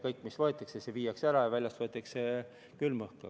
Kõik, mis võetakse, viiakse ära, ja väljast võetakse asemele külm õhk.